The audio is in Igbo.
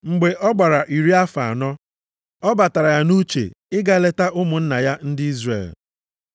“Mgbe ọ gbara iri afọ anọ, ọ batara ya nʼuche ịga ileta ụmụnna ya ndị Izrel.